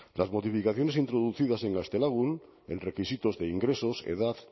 las modificaciones introducidas en gaztelagun en requisitos de ingresos edad